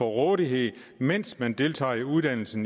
rådighed mens man deltager i en uddannelse